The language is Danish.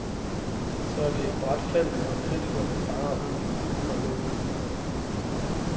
Så er det et brat fald, når kritikkerne farer ud med uld og lav flyvehøjde.